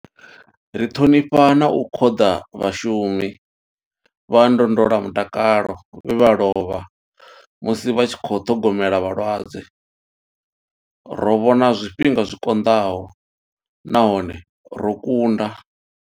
Ri ṱhonifha na u khoḓa vhashumi vha ndondolamutakalo vhe vha lovha musi vha tshi khou ṱhogomela vhalwadze. Ro vhona zwifhinga zwi konḓaho nahone ro kunda.